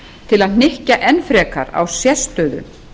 til að hnykkja enn frekar á sérstöðu